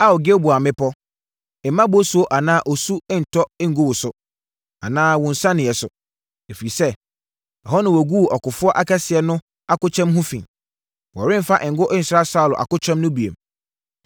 “Ao Gilboa mmepɔ, mma bosuo anaa osuo ntɔ ngu wo so, anaa wo nsianeɛ so. Ɛfiri sɛ, ɛhɔ na wɔguu ɔkofoɔ kɛseɛ no akokyɛm ho fi; wɔremfa ngo nsra Saulo akokyɛm ho bio.